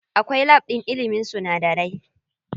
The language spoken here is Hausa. Akwai lab ɗin ilimin sunadarai.